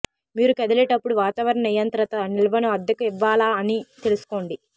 మీరు కదిలేటప్పుడు వాతావరణ నియంత్రిత నిల్వను అద్దెకు ఇవ్వాలా అని తెలుసుకోండి